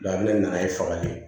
ne nana ye fagali ye